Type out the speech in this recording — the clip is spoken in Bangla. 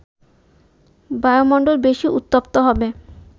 বায়ুমণ্ডল বেশি উত্তপ্ত হবে